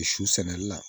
Su sɛnɛli la